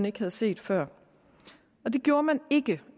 ikke var set før det gjorde man ikke